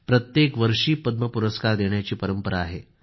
प्रत्येक वर्षी पद्म पुरस्कार देण्याची परंपरा आहे